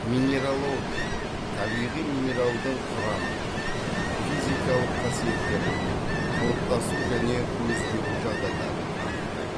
минералогия табиғи минералдың құрамын физикалық қасиеттерін қалыптасу және өзгеру жағдайларын анықтайды